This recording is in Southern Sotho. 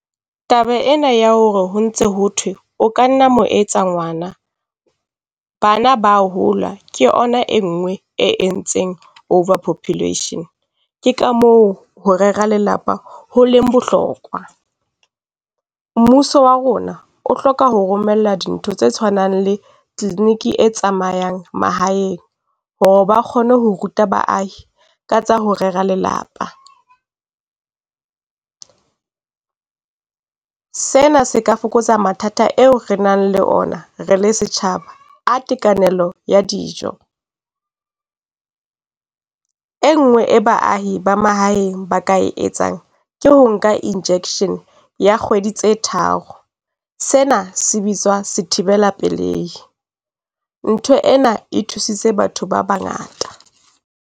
Taba ena ya hore ho ntse ho thwe o ka nna wa mo etsa ngwana. Bana ba hola ke ona e nngwe e entseng over population. Ke ka moo ho rera lelapa ho leng bohlokwa. Mmuso wa rona o hloka ho romella dintho tse tshwanang le clinic e tsamayang mahaeng hore ba kgone ho ruta baahi ka tsa ho rera lelapa. Sena se ka fokotsa mathata eo re nang le ona, re le setjhaba a tekanelang ya dijo. E nngwe e baahi ba mahaeng ba ka etsang ke ho nka injection ya kgwedi tse tharo. Sena se bitswa sethibela pelei. Ntho ena e thusitse batho ba bangata.